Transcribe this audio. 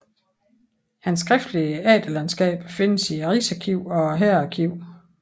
Hans skriftlige efterladenskaber findes i Rigsarkivet og Hærarkivet